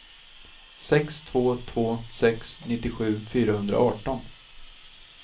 sex två två sex nittiosju fyrahundraarton